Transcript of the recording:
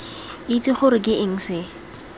itse gore ke eng se